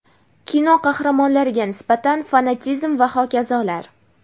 kino qahramonlariga nisbatan fanatizm va hokazolar.